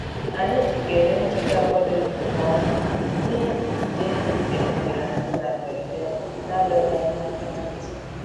Anyị jikere njike a kwadoghị nke ọma n'ihi ide mmiri bịakutere anyị na mberede na-adọghị anyị aka na ntị